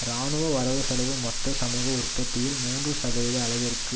இராணுவ வரவு செலவு மொத்த சமூக உற்பத்தியில் மூன்று சதவீத அளவிற்கு